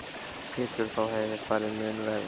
Pétur: Þá hefði farið mun verr?